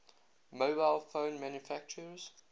mobile phone manufacturers